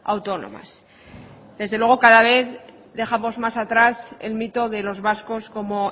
autónomas desde luego cada vez dejamos más atrás el mito de los vascos como